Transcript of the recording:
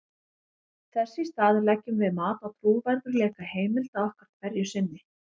þess í stað leggjum við mat á trúverðugleika heimilda okkar hverju sinni